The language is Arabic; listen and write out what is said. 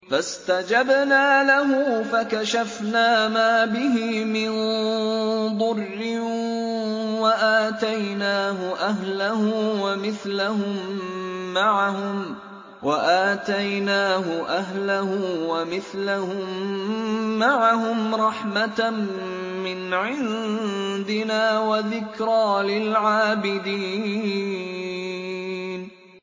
فَاسْتَجَبْنَا لَهُ فَكَشَفْنَا مَا بِهِ مِن ضُرٍّ ۖ وَآتَيْنَاهُ أَهْلَهُ وَمِثْلَهُم مَّعَهُمْ رَحْمَةً مِّنْ عِندِنَا وَذِكْرَىٰ لِلْعَابِدِينَ